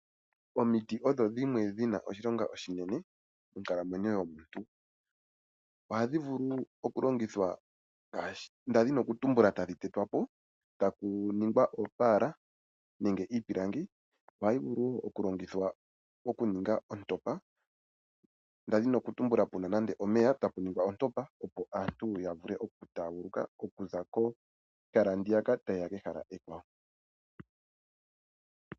Omiti odho dhimwe dhina oshilonga oshinene monkalamwenyo yomuntu. Oha dhivulu okulongithwa ndadhini kutumbula dhatetwapo eta ku ningwa oopaala nenge iipilangi nayo ohayi vulu okulongithwa oku ninga ontopa, ndadhini okutumbula puna nande omeya eta puningwa ontopa opo aantu yavule okutaaguluka okuza kehala ndiyaka tayeya kehala ekwawo.